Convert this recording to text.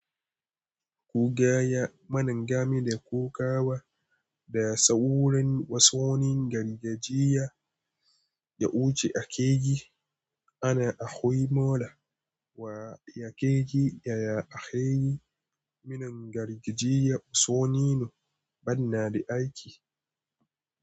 Kugaya manin gami da kokawa da saurayin wasonin gargajiya da wuce a keji ana ahoyi mola wa yakeji yaya akeyi manin gargajiya usoninu bana da aiki.